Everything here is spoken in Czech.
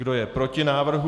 Kdo je proti návrhu?